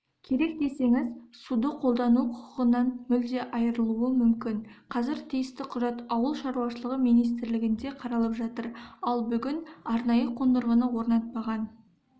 керек десеңіз суды қолдану құқығынан мүлде айырылуы мүмкін қазір тиісті құжат ауыл шаруашылығы министрлігінде қаралып жатыр ал бүгін арнайы қондырғыны орнатпаған